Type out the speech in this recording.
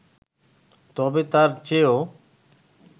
তবে, তার চেয়েও